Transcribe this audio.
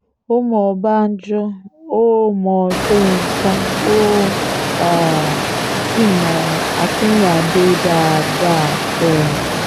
ó mọ ọbànjọ́ ó mọ sọ́yńkà ó um sì mọ akínrínnádé dáadáa um